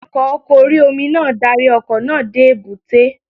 Awakọ̀ oko orí-omi náà darí ọkọ̀ náà dé èbúté